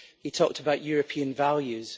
He talked about European values.